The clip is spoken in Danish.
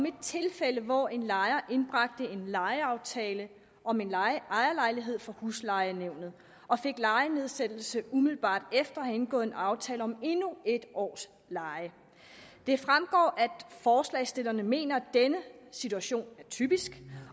et tilfælde hvor en lejer indbragte en lejeaftale om en ejerlejlighed for huslejenævnet og fik lejenedsættelse umiddelbart efter at have indgået en aftale om endnu en års leje det fremgår at forslagsstillerne mener at denne situation er typisk